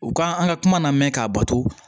U ka an ka kuma namɛn k'a bato